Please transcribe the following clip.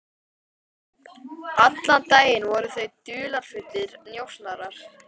Allan daginn voru þau dularfullir njósnarar.